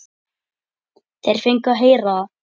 Þeir fengu að heyra það.